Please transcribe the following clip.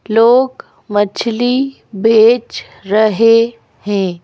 लोग मछली बेच रहे हैं।